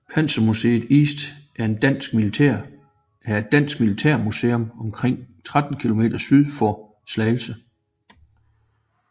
Panzermuseum East er et dansk militærmuseum omkring 13 km syd for Slagelse